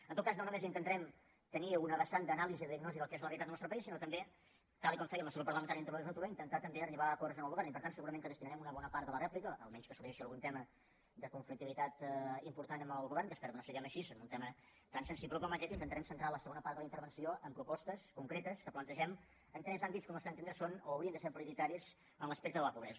en tot cas no només intentarem tenir una vessant d’anàlisi i de diagnosi del que és la realitat del nostre país sinó també tal com feia el nostre grup parlamentari a l’anterior legislatura intentar també arribar a acords amb el govern i per tant segurament que destinarem una bona part de la rèplica a menys que sorgeixi algun tema de conflictivitat important amb el govern que espero que no sigui així en un tema tan sensible com aquest intentarem centrar la segona part de la intervenció en propostes concretes que plantegem en tres àmbits que al nostre entendre són o haurien de ser prioritaris en l’aspecte de la pobresa